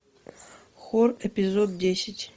хор эпизод десять